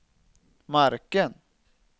marken